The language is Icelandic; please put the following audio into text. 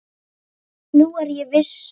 Nú er ég viss!